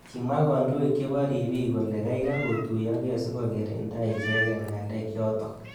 Kimwa kandoik chebo ribik kole kaikai kotuyokei sikokirinda i�heket ngalek chotok.